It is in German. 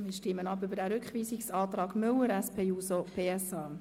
Wir stimmen ab über den Rückweisungsantrag Müller/SP-JUSO-PSA.